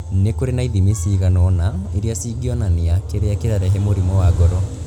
Nĩ kũrĩ na ithimi ciĩgana ũna iria ingionania kĩrĩa kĩrarehe mũrimũ wa ngoro.